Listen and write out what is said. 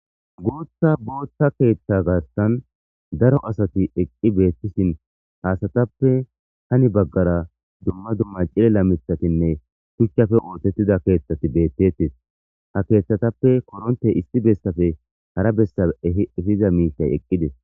Booththa boothta keeththa garsan daro asati eqqi beettishin ha asatappe hani baggara dumma dumma cilIla mitHatinne shuchchafe ootettida keeththati beettees. Ha keeththatappe koronte issi bessafe hara bessa ehi efiza miitay eqqides.